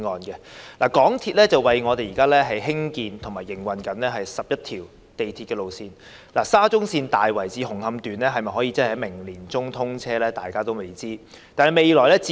香港鐵路有限公司為我們興建及營運了11條鐵路線，當中的沙田至中環線大圍至紅磡段能否在明年年中通車，仍是未知之數。